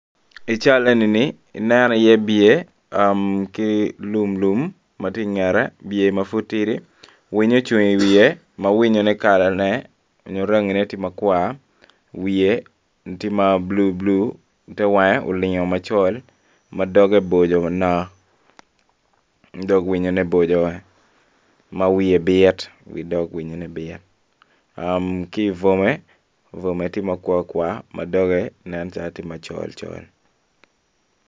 I cal enini ineno iye biye ki lumlum ma tye ingette biye ma pud tidi winyo ocung iwiye ma winyone tye rangi makwar wiye olingo ma blu te wangeo olingo macol ma doge bocco manko dog winyone bocco ma wiye bit wi dog winyone bit ki ibwome bwome tye makwar kwar ma doge nen calo tye macol.